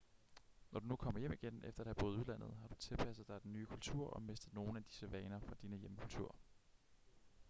når du kommer hjem igen efter at have boet i udlandet har du tilpasset dig den nye kultur og mistet nogle af dine vaner fra din hjemkultur